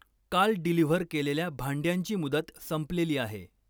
काल डिलिव्हर केलेल्या भांड्यांची मुदत संपलेली आहे.